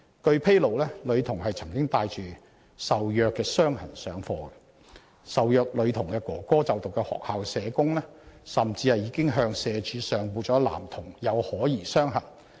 據披露，女童曾帶着受虐傷痕上課，而受虐女童哥哥就讀的學校社工甚至已向社會福利署上報了男童有可疑傷痕。